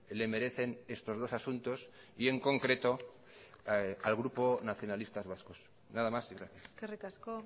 le merecen estos dos asuntos y en concreto al grupo nacionalistas vascos nada más y gracias eskerrik asko